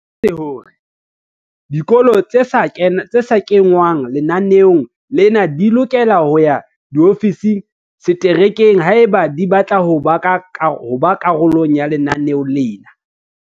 O boletse hore dikolo tse sa kengwang lenaneong lena di lokela ho ya diofising tsa setereke haeba di batla ho ba karolo ya lenaneo lena.